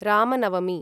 Ramnavami